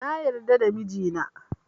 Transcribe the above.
Na yarda da mijina